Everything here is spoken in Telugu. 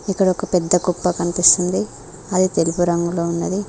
ఇక్కడ ఒక పెద్ద కుప్ప కనిపిస్తుంది అది తెలుపు రంగులో ఉన్నది.